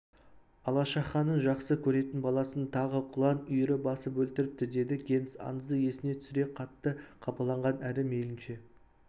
алашаханның жақсы көретін баласын тағы құлан үйірі басып өлтіріпті деді генс аңызды есіне түсіре қатты қапаланған әрі мейлінше